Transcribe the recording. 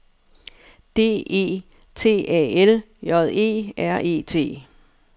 D E T A L J E R E T